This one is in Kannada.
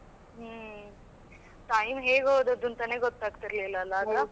ಹಮ್ಮ್ time ಹೇಗೆ ಹೋದದ್ದು ಅಂತನೇಗೊತ್ತಾಗ್ತಿರ್ಲಿಲ್ಲ ಅಲಾ ಆಗ.